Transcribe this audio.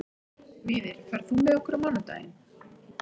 Víðir, ferð þú með okkur á mánudaginn?